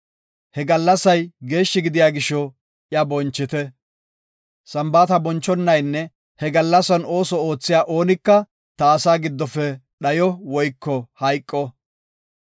He gallasay geeshshi gidiya gisho, iya bonchite. Sambaata bonchonaynne he gallasan ooso oothiya oonika ta asaa giddofe dhayo woyko hayqo.